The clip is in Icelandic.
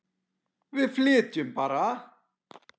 Við flytjum bara!